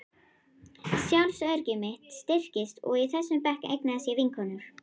Sjálfsöryggi mitt styrktist og í þessum bekk eignaðist ég vinkonur.